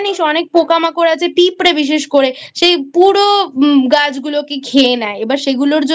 অনেক পোকামাকড় আছে পিঁপড়ে বিশেষ করে সে পুরো গাছগুলোকে খেয়ে নেয় এবার সেগুলোর জন্যও